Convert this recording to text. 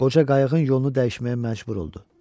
Qoca qayığın yolunu dəyişməyə məcbur oldu.